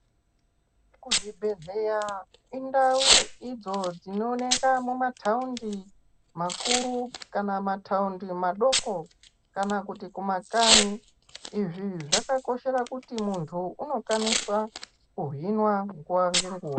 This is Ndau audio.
Kuzvibhadhlera indau idzo dzinooneka mumataundi makuru kana mataundi madoko kana kuti kumakanyi. Izvi zvakakoshera kuti muntu unokwanisa kuhinwa nguwa ngenguwa.